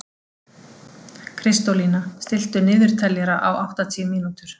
Kristólína, stilltu niðurteljara á áttatíu mínútur.